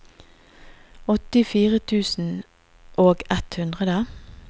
åttifire tusen og ett hundre